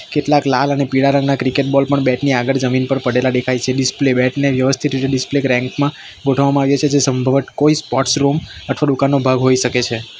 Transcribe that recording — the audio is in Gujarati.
કેટલાક લાલ અને પીળા રંગના ક્રિકેટ બોલ પણ બેટ ની આગળ જમીન પર પડેલા ડેખાય છે ડિસ્પ્લે બેટ ને વ્યવસ્થિત રીતે ડિસ્પ્લે રેન્ક માં ગોઠવવામાં આવ્યા છે જે સંભવટ કોઈ સ્પોર્ટ્સ રૂમ અઠવા ડુકાનનો ભાગ હોઈ શકે છે.